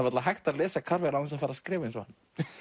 varla hægt að lesa Carver án þess að fara að skrifa eins og hann